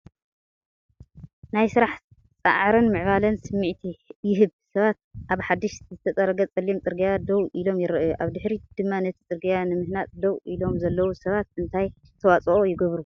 ናይ ስራሕ፣ ጻዕርን ምዕባለን ስምዒት ይህብ፤ ሰባት ኣብ ሓድሽ ዝተጸረገ ጸሊም ጽርግያ ደው ኢሎም ይረኣዩ። ኣብ ድሕሪት ድማ ነቲ ጽርግያ ንምህናጽ ደው ኢሎም ዘለው ሰባት እንታይ ኣስተዋፅኦ ይገብሩ?